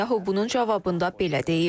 Netanyahu bunun cavabında belə deyib.